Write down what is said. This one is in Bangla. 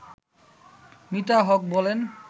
মিতা হক বলেন